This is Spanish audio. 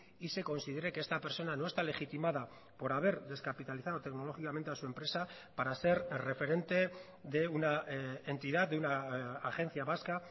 y se considere que esta persona no está legitimada por haber descapitalizado tecnológicamente a su empresa para ser referente de una entidad de una agencia vasca